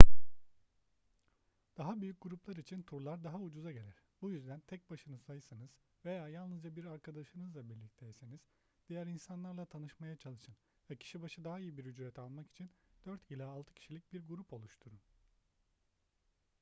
daha büyük gruplar için turlar daha ucuza gelir bu yüzden tek başınızaysanız veya yalnızca bir arkadaşınızla birlikteyseniz diğer insanlarla tanışmaya çalışın ve kişi başı daha iyi bir ücret almak için dört ila altı kişilik bir grup oluşturun